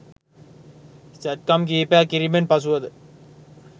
සැත්කම් කිහිපයක් කිරීමෙන් පසුවද